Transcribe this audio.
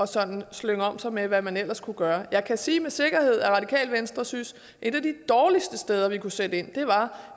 sådan at slynge om sig med hvad man ellers kunne gøre jeg kan sige med sikkerhed at radikale venstre synes at et af de dårligste steder vi kunne sætte ind var